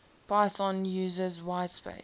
python uses whitespace